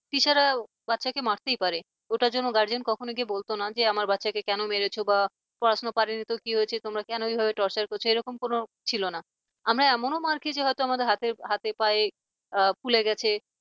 teacher রা বাচ্চাকে মারতেই পারে ওটার জন্য guardian কখনোই গিয়ে বলত না যে কেন মেরেছ বা পড়াশোনা করেনি তো কি হয়েছে তোমরা কেন এভাবে torture করছ এরকম করে ছিল না আমরা এমনও মার খেয়েছি হয়তো আমাদের হাতে হাতে পায়ে ফুলে গেছে